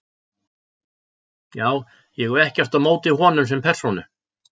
Já- ég hef ekkert á móti honum sem persónu.